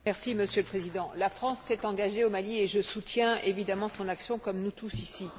Monsieur le Président, la France s'est engagée au Mali et je soutiens, évidemment, son action comme nous tous, ici.